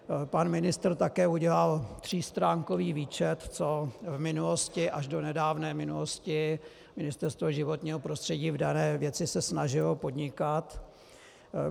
Pan ministr také udělal třístránkový výčet, co v minulosti až do nedávné minulosti Ministerstvo životního prostředí v dané věci se snažilo podnikat.